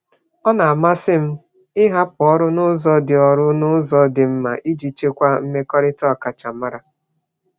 Ọ na-amasị m ịhapụ ọrụ n'ụzọ dị mma iji chekwaa mmekọrịta ọkachamara.